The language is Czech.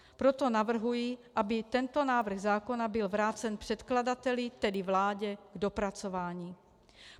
Proto navrhuji, aby tento návrh zákona byl vrácen předkladateli, tedy vládě, k dopracování.